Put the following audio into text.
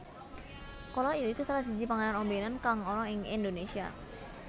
Kolak ya iku salah siji panganan ombènan kang ana ing Indonésia